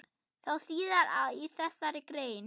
Sjá síðar í þessari grein.